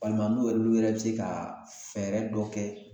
Walima n'u yɛrɛ u yɛrɛ be se ka fɛɛrɛ dɔ kɛ